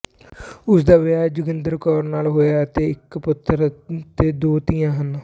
ਉਸ ਦਾ ਵਿਆਹ ਜੋਗਿੰਦਰ ਕੌਰ ਨਾਲ਼ ਹੋਇਆ ਅਤੇ ਇੱਕ ਪੁੱਤਰ ਅਤੇ ਦੋ ਧੀਆਂ ਹਨ